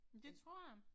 Men det tror jeg